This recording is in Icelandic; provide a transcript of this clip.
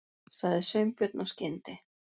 sagði Sveinbjörn af skyndi